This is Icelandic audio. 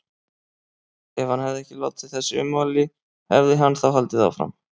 Ef hann hefði ekki látið þessi ummæli, hefði hann þá haldið áfram?